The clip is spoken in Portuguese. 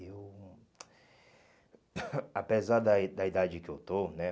Eu... Apesar da i da i dade que eu estou, né?